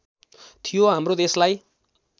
थियो हाम्रो देशलाई